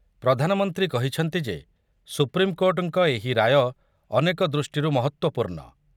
ପ୍ରଧାନମନ୍ତ୍ରୀ କହିଛନ୍ତି ଯେ ସୁପ୍ରିମକୋର୍ଟଙ୍କ ଏହି ରାୟ ଅନେକ ଦୃଷ୍ଟିରୁ ମହତ୍ତ୍ୱପୂର୍ଣ୍ଣ ।